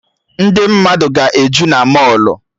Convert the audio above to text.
Ndị mmadụ ga-eju na mọlụ